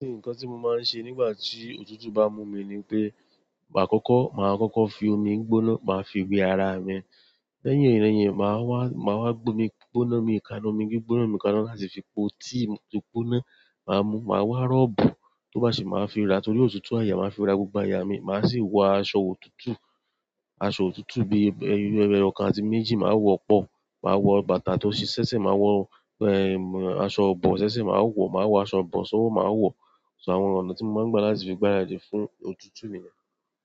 Nǹkan tí mo máa ń ṣe nígbà tí òtútù bá mú mi ni pé, àkọ́kọ́ máa kọ́kọ́ fi omi gbóná, màá fi wẹ ara mi. Lẹ́yìn irẹyin, màá wá, màá wá gbé omi gbóná mi kaná, omi gbóná mi kaná láti fi po tea tó gbóná, màá mú. Màá wọ rọ́bù, tó bá ṣe màá fi ra torí òtútù àyà, màá fi ra gbogbo àyà mi. Maa si wọ asọ òtútù, asọ òtútù bi ẹyọkan àti méjì maa wọ pọ, maa wọ bàtà to se sẹẹsẹ, maa wọ asọ ibọ sẹsẹ maa wọ, maa asọ ibọ sọwọ maa wọ àwọn ọ̀nà tí mo máa ń gbà láti fi gbaradì fún òtútù mi niyẹn.